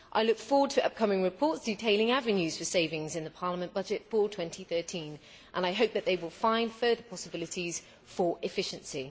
I look forward to upcoming reports detailing avenues for savings in Parliament's budget for 2013 and I hope that they will find further possibilities for efficiency.